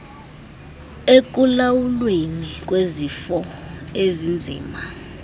ekulawulweni kwezifo ezinzima